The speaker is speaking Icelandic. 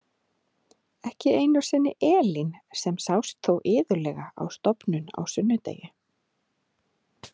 Ekki einu sinni Elín sem sást þó iðulega á stofnun á sunnudegi.